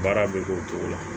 Baara bɛ k'o cogo la